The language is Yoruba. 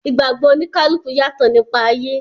Ìgbàgbọ̀ oníkálùkù yàtọ̀ nípa ayé.